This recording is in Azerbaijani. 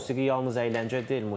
Musiqi yalnız əyləncə deyil.